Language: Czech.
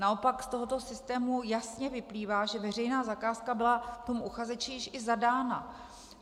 Naopak z tohoto systému jasně vyplývá, že veřejná zakázka byla tomu uchazeči již i zadána.